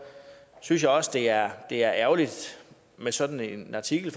synes jeg også det er det er ærgerligt med sådan en artikel